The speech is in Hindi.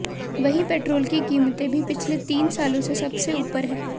वहीं पेट्रोल की कीमतें भी पिछले तीन सालों में सबसे ऊपर हैं